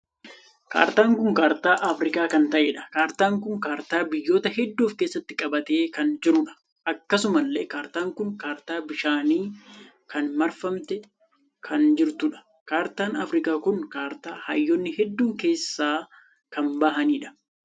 Kaartaan kun kaartaa Afrikaa kan taheedha. kaartaan kun kaartaa biyyoota hedduu of keessatti qabate kan jirudha. akkasumallee kaartaan kun kaartaa bishaanii kan marfamtee kan jirtuudha. kaartaan Afrikaa kun kaartaa hayyoonni hedduun keessaa kan baa'aniidha.